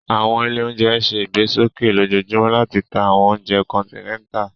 Awọn ile ounjẹ ǹ ṣe igbesoke lojoojumọ lati ta awọn ounjẹ kọntinẹta